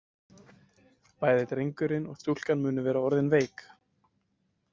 Bæði drengurinn og stúlkan munu vera orðin veik.